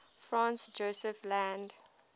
franz josef land